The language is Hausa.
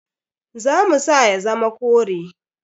Za mu sa ya zama kore.